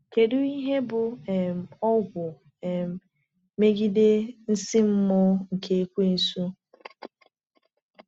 Kedu ihe bụ um ọgwụ um megide nsí mmụọ nke Ekweusu?